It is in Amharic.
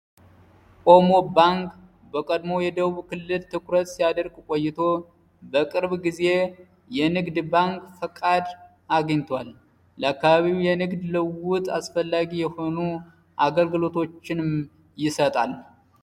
ኦሞ ባንክ በቀድሞ የደቡብ ክልል ትኩረት ሲያደርግ ቆይቶ በቅርብ ጊዜ የንግድ ባንክ ፈቃድ አግኝቷል ለካባቢው የንግድ ልውጥ አስፈላጊ የሆኑ አገልግሎቶችንም ይሰጣል።